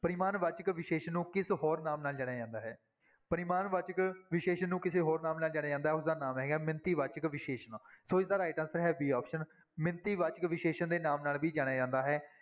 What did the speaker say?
ਪਰਿਮਾਣਵਾਚਕ ਵਿਸ਼ੇਸ਼ਣ ਨੂੰ ਕਿਸ ਹੋਰ ਨਾਮ ਨਾਲ ਜਾਣਿਆ ਜਾਂਦਾ ਹੈ, ਪਰਿਮਾਣ ਵਾਚਕ ਵਿਸ਼ੇਸ਼ਣ ਨੂੰ ਕਿਸੇ ਹੋਰ ਨਾਮ ਨਾਲ ਜਾਣਿਆ ਜਾਂਦਾ, ਉਸਦਾ ਨਾਮ ਹੈ ਮਿਣਤੀ ਵਾਚਕ ਵਿਸ਼ੇਸ਼ਣ, ਸੋ ਇਸਦਾ right answer ਹੈ b option ਮਿਣਤੀ ਵਾਚਕ ਵਿਸ਼ੇਸ਼ਣ ਦੇ ਨਾਮ ਨਾਲ ਵੀ ਜਾਣਿਆ ਜਾਂਦਾ ਹੈ।